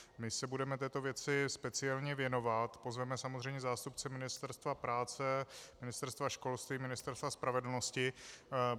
My se budeme této věci speciálně věnovat, pozveme samozřejmě zástupce Ministerstva práce, Ministerstva školství, Ministerstva spravedlnosti.